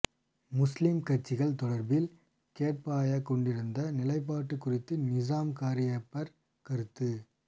முஸ்லிம் கட்சிகள் தொடர்பில் கோட்டபாய கொண்டிருந்த நிலைப்பாட்டு குறித்து நிஸாம் காரியப்பர் கருத்து